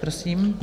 Prosím.